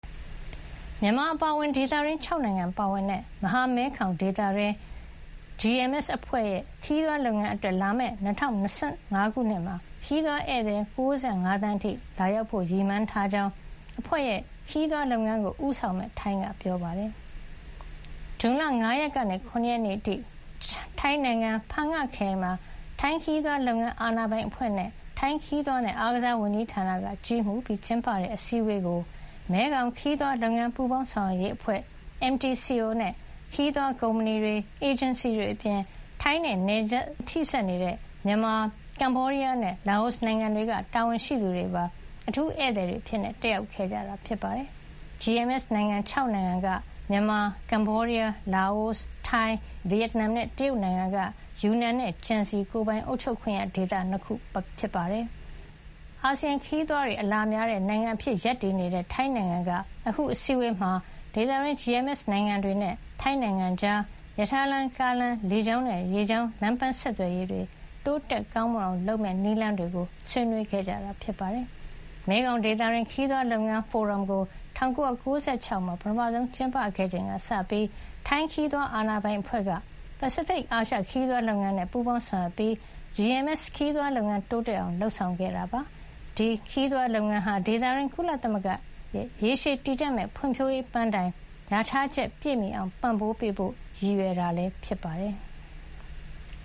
မြန်မာအပါအဝင် ဒေသတွင်း ၆ နိုင်ငံပါဝင်တဲ့ မဟာမဲခေါင်ဒေသ GMS အဖွဲ့ရဲ့ ခရီးသွားလုပ်ငန်းအတွက် လာမယ့် ၂၀၂၅ ခုနှစ်မှာ ခရီးသွားဧည့်သည် ၉၅ သန်းအထိ လာရောက်ဖို့ ရည်မှန်းထားကြောင်း အဖွဲ့ရဲ့ ခရီးသွားလုပ်ငန်းကို ဦးဆောင်မယ့် ထိုင်းက ပြောပါတယ်။ ဇွန်လ ၅ ရက်နေ့ကနေ ၇ ရက်နေ့အထိ ထိုင်းနိုင်ငံ ဖန်ငခရိုင်မှာ ထိုင်းခရီးသွားလုပ်ငန်း အာဏာပိုင်အဖွဲ့၊ ထိုင်းခရီးသွားနဲ့ အားကစားဝန်ကြီးဌာနက ကြီးမှူးပြီးကျင်းပတဲ့ အစည်းဝေးကို မဲခေါင်ခရီးသွားလုပ်ငန်း ပူးပေါင်းဆောင်ရွက်ရေးအဖွဲ့ MTCO နဲ့ ခရီးသွားကုမ္ပဏီတွေ၊ အေဂျင်စီတွေအပြင် ထိုင်းနဲ့နယ်စပ်ချင်း ထိစပ်နေတဲ့ မြန်မာ၊ ကမ္ဘောဒီးယားနဲ့ လာအိုနိုင်ငံတွေက တာဝန်ရှိသူတွေပါ အထူးဧည့်သည်အဖြစ် တက်ရောက်ခဲ့ကြပါတယ်။ GMS နိုင်ငံ ၆ နိုင်ငံကတော့ မြန်မာ၊ ကမ္ဘောဒီးယား၊ လာအို၊ ထိုင်း၊ ဗီယက်နမ်နဲ့ တရုတ်နိုင်ငံက ယူနန်နဲ့ ကျန်စီ ကိုယ်ပိုင်အုပ်ချုပ်ခွင့်ရဒေသ ၂ ခု တို့ ဖြစ်ပါတယ်။ အာဆီယံဒေသတွင်း ခရီးသွားတွေ အလာများတဲ့နိုင်ငံအဖြစ် ရပ်တည်နေတဲ့ ထိုင်းနိုင်ငံက အခု အစည်းအဝေးမှာ ဒေသတွင်း GMS နိုင်ငံတွေနဲ့ ထိုင်းနိုင်ငံကြား ရထားလမ်း၊ ကားလမ်း၊ လေကြောင်းနဲ့ ရေကြောင်း လမ်းပမ်းဆက်သွယ်ရေး တိုးတက်ကောင်းမွန်အောင် လုပ်ဆောင်မယ့် နည်းလမ်းတွေကို ဆွေးနွေးခဲ့တာပါ။ မဲခေါင်ဒေသတွင်း ခရီးသွားလုပ်ငန်း ဖိုရမ်ကို ၁၉၉၆ ခုနှစ်မှာ ပထမဆုံး ကျင်းပခဲ့ချိန်ကစပြီး ထိုင်းခရီးသွား အာဏာပိုင်အဖွဲ့က ပစိဖိတ်-အာရှ ခရီးသွားလုပ်ငန်းနဲ့ ပူးပေါင်းဆောင်ရွက်ပြီး GMS ခရီးသွားလုပ်ငန်း တိုးတက်အောင် လုပ်ဆောင်ခဲ့တာ ဖြစ်ပါတယ်။ GMS ခရီးသွားလုပ်ငန်းဟာ ဒေသတွင်း ကုလသမဂ္ဂရဲ့ ရေရှည်တည်တံ့မယ့် ဖွံ့ဖြိုးရေး ပန်းတိုင်လျာထားချက် ပြည့်မီအောင် ပံ့ပိုးပေးဖို့လည်း ရည်ရွယ်တာ ဖြစ်ပါတယ်။